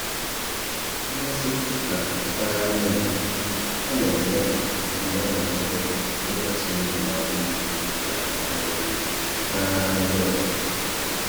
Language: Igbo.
Mmasị na Mpaghara Igbo: Ọ na-eme ka mmadụ nwee ntụkwasị obi n’ala Igbo na um mpaghara ndị ọzọ.